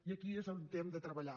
i aquí és on hem de treballar